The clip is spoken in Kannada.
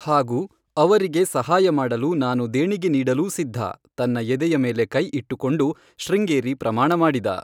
ಹಾಗೂ, ಅವರಿಗೆ ಸಹಾಯ ಮಾಡಲು ನಾನು ದೇಣಿಗೆ ನೀಡಲೂ ಸಿದ್ಧ,' ತನ್ನ ಎದೆಯ ಮೇಲೆ ಕೈ ಇಟ್ಟುಕೊಂಡು ಶೃಂಗೇರಿ ಪ್ರಮಾಣ ಮಾಡಿದ.